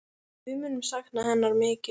Við munum sakna hennar mikið.